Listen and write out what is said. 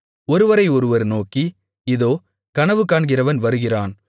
ஒருவரை ஒருவர் நோக்கி இதோ கனவுகாண்கிறவன் வருகிறான்